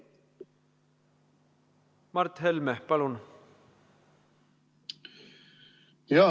Mart Helme, palun!